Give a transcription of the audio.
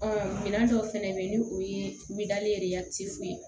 Ɔ minɛn dɔw fɛnɛ bɛ yen ni o ye ye